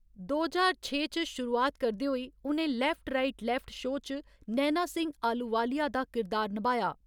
दो ज्हार छे च शुरूआत करदे होई, उ'नें लेफ्ट राइट लेफ्ट शो च नैना सिंह अहलूवालिया दा किरदार नभाया।